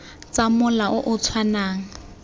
tsa mola o o tshwanang